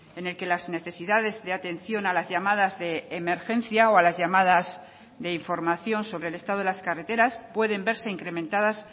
en el que las necesidades de atención a las llamadas de emergencia o a las llamadas de información sobre el estado de las carreteras pueden verse incrementadas